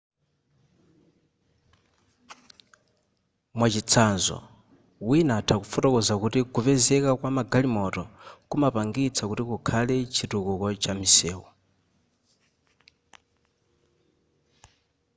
mwachitsanzo wina atha kufotokoza kuti kupezeka kwama galimoto kumapangitsa kuti kukhale chitukuko cha misewu